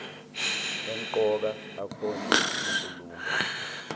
emqoka akhonjwe kunkulumo